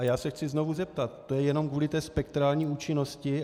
A já se chci znovu zeptat: To je jenom kvůli té spektrální účinnosti?